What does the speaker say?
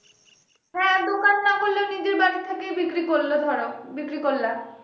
হ্যাঁ দোকান না করলেও নিজে বাড়ি থেকে বিক্রি করলো ধরো বিক্রি করলা